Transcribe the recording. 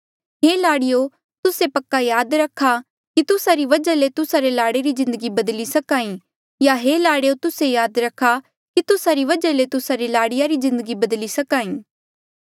हे लाड़ियो तूस्से पक्का याद रखा कि तुस्सा री वजहा ले तुस्सा रे लाड़े री जिन्दगी बदली सकां ई या हे लाड़ेयो तुस्से याद रखा कि तुस्सा री वजहा ले तुस्सा री लाड़ीया री जिन्दगी बदली सकां ई